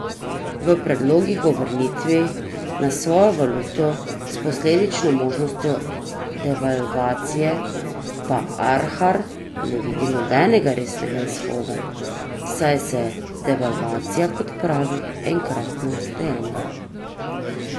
V predlogih o vrnitvi na svojo valuto s posledično možnostjo devalvacije pa Arhar ne vidi nekega resnega izhoda, saj je devalvacija, kot pravi, enkratno dejanje.